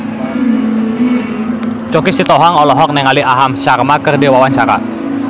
Choky Sitohang olohok ningali Aham Sharma keur diwawancara